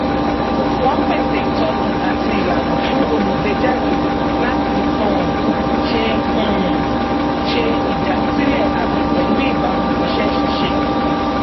wọn pèsè ìtọni àti ìlànà fún olùgbéjáde láti um ṣe um ṣe ìdásílẹ àmì pẹlú ìbámu iṣẹ ṣíṣe